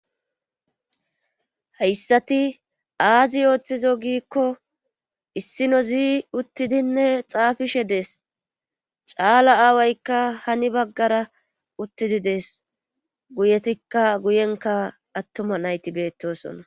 Hayssati aazi ooththizo giikko issinozi uttidinne xaafishe dees caala aawaykka hani baggara uttidi dees guyetikka guyenka attuma nayti beettosona.